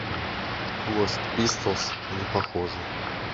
квест пистолс непохожие